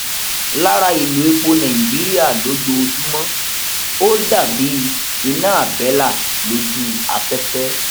lára ìlò epo nàìjíríà lójoojúmọ ó dà bí iná àbẹlà lójú afẹfẹ